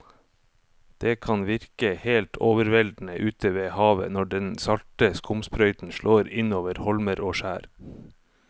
Det kan virke helt overveldende ute ved havet når den salte skumsprøyten slår innover holmer og skjær.